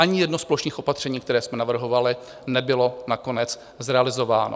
Ani jedno z plošných opatření, která jsme navrhovali, nebylo nakonec zrealizováno.